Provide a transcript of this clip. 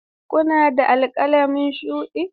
Kuna da alƙalami shuɗi?